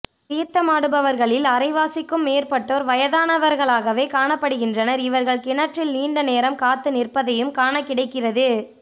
தீர்த்தமாடுபவர்களில் அரைவாசிக்கும் மேற்பட்டோர் வயதானவர்களாகவே காணப்படுகின்றனர் இவர்கள் கிணற்றில் நீண்ட நேரம் காத்து நிற்பதையும் காணக்கிடைக்கிறது